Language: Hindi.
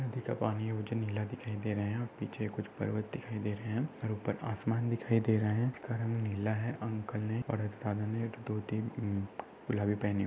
नदी का पानी है उजनी लागती ही दे रहे है और पिच्छे कुच्छ पर्वत दिखाई दे रही है और उपर आसमान दिखाई दे रहा है का रंग नीला है अंकल ने और एक दादा ने एक धोती म गुलाबी पेहणी हुई--